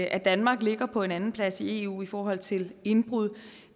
at danmark ligger på en andenplads i eu i forhold til indbrud